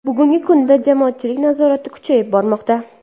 Bugungi kunda jamoatchilik nazorati kuchayib bormoqda.